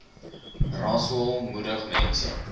rasool moedig mense